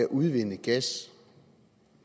at udvinde gas